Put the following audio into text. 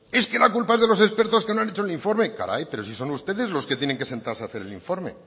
es que la culpa es de los expertos que no han hecho el informe caray pero sin son ustedes los que tienen que sentarse a hacer el informe